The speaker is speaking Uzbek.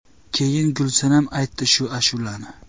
Keyin Gulsanam aytdi shu ashulani.